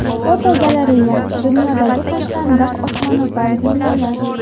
Fotogalereya: Dunyodagi tashlandiq osmono‘par binolar.